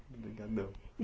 Obrigadão.